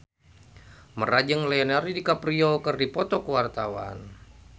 Mandra jeung Leonardo DiCaprio keur dipoto ku wartawan